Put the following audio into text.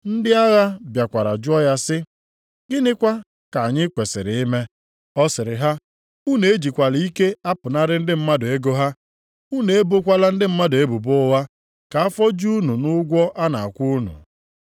Ndị agha bịakwara jụọ ya sị, “Gịnịkwa ka anyị kwesiri ime?” Ọ sịrị ha, “Unu ejikwala ike apụnara ndị mmadụ ego ha; unu ebokwala ndị mmadụ ebubo ụgha, ka afọ ju unu nʼụgwọ a na-akwụ unu.”